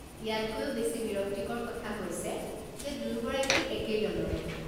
ইয়াতকৈও বেছি বিৰক্তিকৰ কথা হৈছে যে দুয়োগৰাকী একেই দলৰে।